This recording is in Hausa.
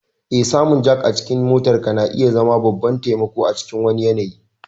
Eh, samun jack a cikin motarka na iya zama babban taimako a cikin wani yanayi.